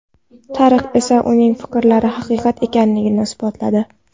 Tarix esa uning fikrlari haqiqat ekanini isbotladi.